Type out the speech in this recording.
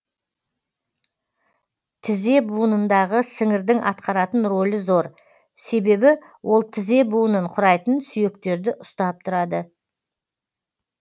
тізе буынындағы сіңірдің атқаратын рөлі зор себебі ол тізе буынын құрайтын сүйектерді ұстап тұрады